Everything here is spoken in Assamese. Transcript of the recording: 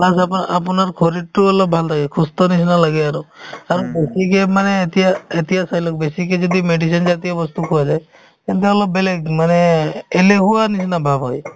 plus আপো~ আপোনাৰ শৰীৰতো অলপ ভাল থাকে সুস্থৰ নিচিনা লাগে আৰু আৰু বেছিকে মানে এতিয়া এতিয়া চাই লওক বেছিকে যদি medicine জাতীয় বস্তু খোৱা যায় তেন্তে অলপ বেলেগ মানে এলেহুৱাৰ নিচিনা ভাব হয়